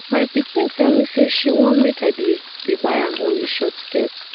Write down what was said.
my pikin tell me say she wan make i dey dey buy am only short skirt